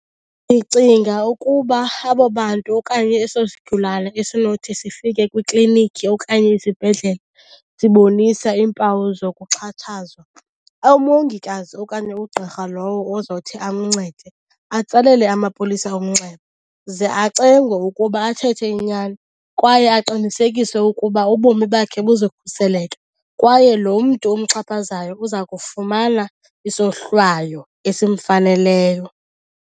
Ndicinga ukuba abo bantu okanye eso sigulane esinothi sifike kwiklinikhi okanye isibhedlele sibonisa iimpawu zokuxhatshazwa, umongikazi okanye ugqirha lowo ozothi amncede atsalele amapolisa umnxeba. Ze acengwe ukuba athethe inyani kwaye aqinisekiswe ukuba ubomi bakhe buzokhuseleka kwaye lo mntu umxhaphazayo uza kufumana isohlwayo esimfaneleyo.